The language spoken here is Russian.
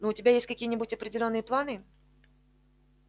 но у тебя есть какие-нибудь определённые планы